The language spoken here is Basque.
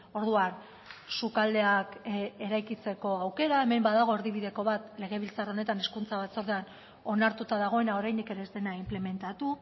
orduan sukaldeak eraikitzeko aukera hemen badago erdibideko bat legebiltzar honetan hezkuntza batzordean onartuta dagoena oraindik ere ez dena inplementatu